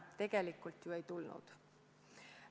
– tegelikult ju ei tulnud.